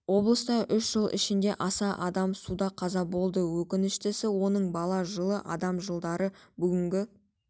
облыста үш жыл ішінде аса адам суда қаза болды өкініштісі оның бала жылы адам жылдары бүгінгі